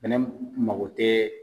Fɛnɛ mako tɛ